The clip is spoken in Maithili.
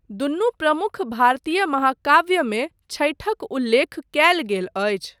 दुनु प्रमुख भारतीय महाकाव्यमे छठिक उल्लेख कयल गेल अछि।